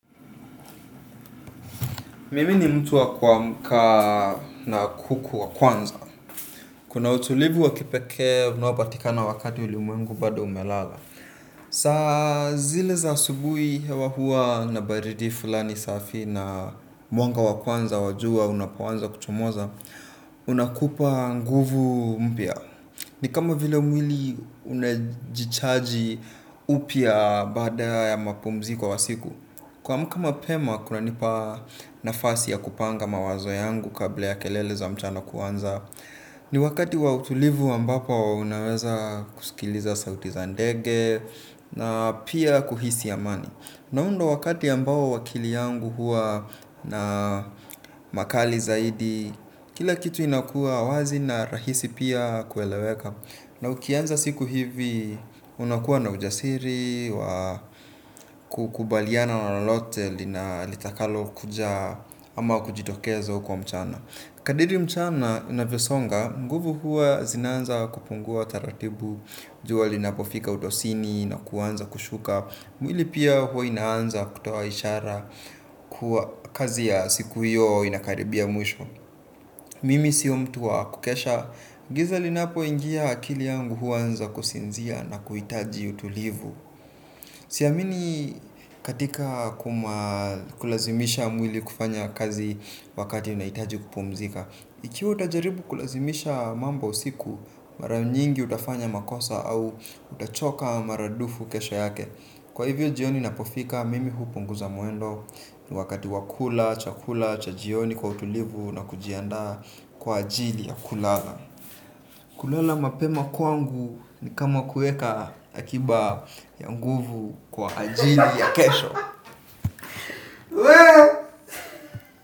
Mimi ni mtu wa kuamka na kuku wa kwanza. Kuna utulivu wa kipekee, unaopatikana wakati ulimwengu bado umelala. Saa zile za asubuhi hewa hua na baridi fulani safi na mwanga wa kwanza wa jua unapoanza kuchomoza, unakupa nguvu mpya. Ni kama vile mwili unajichaji upya baada ya mapumziko kwa siku. Kuamka mapema kunanipa nafasi ya kupanga mawazo yangu kabla ya kelele za mchana kuanza. Ni wakati wa utulivu ambapo unaweza kusikiliza sauti za ndege na pia kuhisi amani. Na huu ndo wakati ambao akili yangu hua na makali zaidi. Kila kitu inakua wazi na rahisi pia kueleweka. Na ukianza siku hivi unakuwa na ujasiri wa kukubaliana na lolote litakalokuja ama kujitokeza huko mchana. Kadiri mchana inavyosonga, nguvu huwa zinaanza kupungua taratibu, jua linapofika utosini na kuanza kushuka. Mwili pia huwa inaanza kutoa ishara kazi ya siku hiyo inakaribia mwisho. Mimi sio mtu wa kukesha, giza linapoingia akili yangu huanza kusinzia na kuhitaji utulivu. Siamini katika kulazimisha mwili kufanya kazi wakati unahitaji kupumzika. Ikiwa utajaribu kulazimisha mambo usiku, mara nyingi utafanya makosa au utachoka maradufu kesho yake. Kwa hivyo jioni inapofika, mimi hupunguza mwendo. Wakati wa kula chakula cha jioni kwa utulivu na kujiandaa kwa ajili ya kulala. Kulala mapema kwangu ni kama kuweka akiba ya nguvu kwa ajili ya kesho.